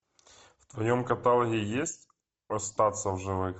в твоем каталоге есть остаться в живых